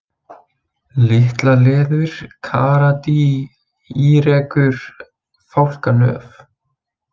Litlaleður, Karadý, Írekur, Fálkanöf